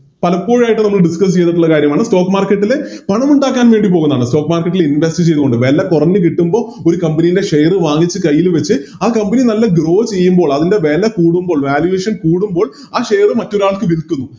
പലപ്പോഴായിട്ടും നമ്മള് Discuss ചെയ്തിട്ടുള്ള കാര്യമാണ് Stock market ല് പണമുണ്ടാക്കാൻ വേണ്ടി പോകുന്നാണ് Stock marjket ല് Invest ചെയ്തോണ്ട് വെല കൊറഞ്ഞ് കിട്ടുമ്പോൾ ഒരു Company ലെ Share വാങ്ങിച്ച് കൈയില് വെച്ച് ആ Company നല്ല Grow ചെയ്യുമ്പോൾ അതിൻറെ വെല കൂടുമ്പോൾ Valuation കൂടുമ്പോൾ ആ Share മറ്റൊരാൾക്ക് വിൽക്കുന്നു